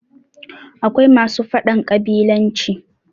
akwai masu faɗan ƙabilanci